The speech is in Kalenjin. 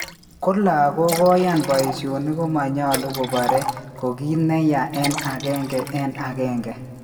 Ko lagok koyan paishonik komanyalu koparee ko kit neyaa en agenge en agenge